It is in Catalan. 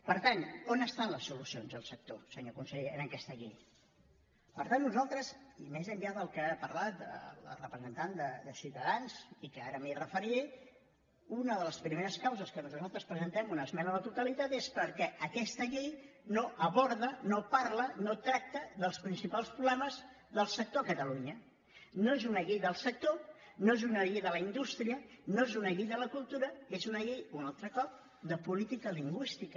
per tant on estan les solucions al sector senyor conseller en aquesta llei per tant nosaltres i més enllà del que ha parlat la representant de ciutadans i que ara m’hi referiré una de les primeres causes per què nosaltres presentem una esmena a la totalitat és perquè aquesta llei no aborda no parla no tracta dels principals problemes del sector a catalunya no és una llei del sector no és una llei de la indústria no és una llei de la cultura és una llei un altre cop de política lingüística